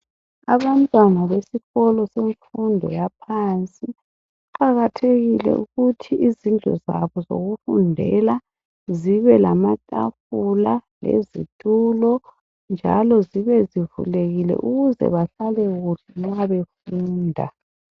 Abantwana besikolo semfundo yaphansi kuqakathekile ukuthi izindlu zabo zokufundela zibe lamatafula lezitulo njalo zibe zivulekile ukuze bahlale kuhle nxa befunda.